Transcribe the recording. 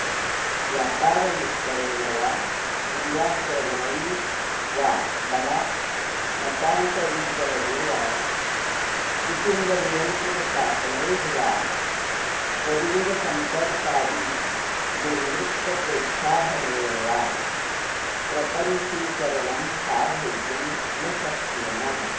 व्यापारविस्तरेण वा दुराक्रमणैर्वा बलात् मतान्तरीकरणै र्वा कुटुम्बनियन्त्रणसाधनैर्वा स्वलिङ्गसम्पर्कादि दुर्वृत्तप्रोत्साहनैर्वा प्रपञ्चीकरणं साधयितुं न शक्नुमः